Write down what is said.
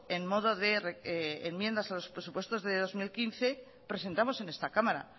en modo de enmiendas a los presupuestos del dos mil quince presentamos en esta cámara